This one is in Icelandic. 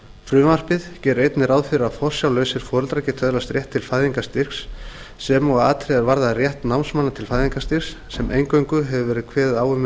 frumvarpið gerir einnig ráð fyrir að forsjárlausir foreldrar geti öðlast rétt til fæðingarstyrks sem og að atriði er varða rétt námsmanna til fæðingarstyrks sem eingöngu hefur verið kveðið á um í